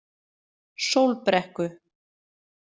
Sólbrekku